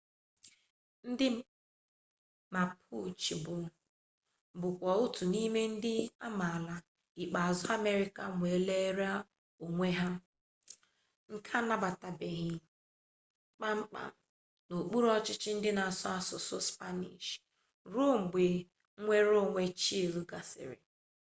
ndị mapuche bụkwa otu n'ime ndị amaala ikpeazụ amerịka nwerela onwe ha nke anabatabeghị kpam kpam n'okpuru ọchịchị ndị na-asụ asụsụ spanish ruo mgbe nnwere onwe chile gasịrị